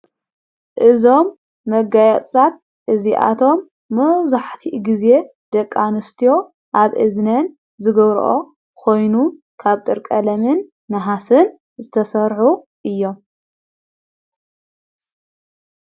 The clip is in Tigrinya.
እዞም መጋያጻት እዚኣቶም ምዙሕቲ ጊዜ ደቃንስትዮ ኣብ እዝነን ዝገብርኦ ኾይኑን ካብ ጥርቀለምን ንሃስን ዝተሠኁ እዮም።